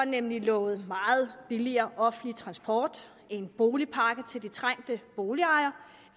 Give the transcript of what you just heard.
nemlig lovet meget billigere offentlig transport en boligpakke til de trængte boligejere